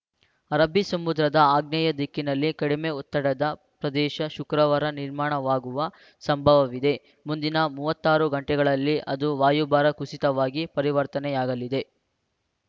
ಅರಬ್ಬಿ ಸಮುದ್ರದ ಆಗ್ನೇಯ ದಿಕ್ಕಿನಲ್ಲಿ ಕಡಿಮೆ ಒತ್ತಡದ ಪ್ರದೇಶ ಶುಕ್ರವಾರ ನಿರ್ಮಾಣವಾಗುವ ಸಂಭವವಿದೆ ಮುಂದಿನ ಮೂವತ್ತ್ ಆರು ಗಂಟೆಗಳಲ್ಲಿ ಅದು ವಾಯುಭಾರ ಕುಸಿತವಾಗಿ ಪರಿವರ್ತನೆಯಾಗಲಿದೆ